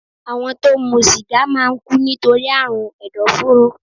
Àwọn tó ń mu sìgá máa ń kú nítorí àrùn ẹ̀dọ̀fóró